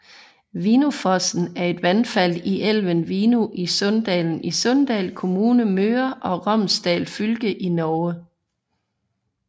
Vinnufossen er et vandfald i elven Vinnu i Sunndalen i Sunndal kommune Møre og Romsdal fylke i Norge